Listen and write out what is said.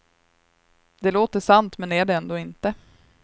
Det låter sant men är det ändå inte.